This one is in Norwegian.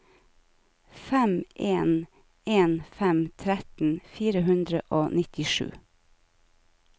fem en en fem tretten fire hundre og nittisju